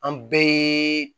An bɛɛ